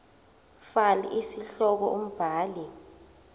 fal isihloko umbhali